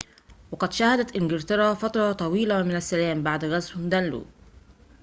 وقد شهدت انكلترا فترةً طويلةً من السّلام بعد غزو دانلو